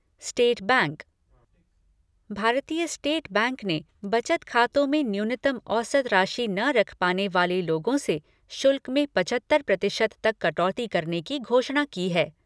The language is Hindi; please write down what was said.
State bank Bharatiya state bank ने बचत खातों में न्यूनतम औसत राशि न रख पाने वाले लोगों से शुल्क में पचहत्तर प्रतिशत तक कटौती करने की घोषणा की है।